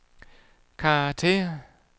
karakter